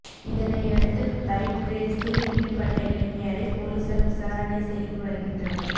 இதனையடுத்து பைக் ரேஸில் ஈடுபட்ட இளைஞரை போலீசார் விசாரணை செய்து வருகின்றனர்